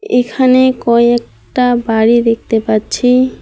এখানে কয়েকটা বাড়ি দেখতে পাচ্ছি।